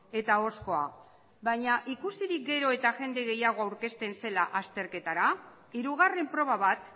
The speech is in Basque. eta ahozkoa baina ikusirik gero eta jende gehiago aurkitzen zela azterketara hirugarren proba bat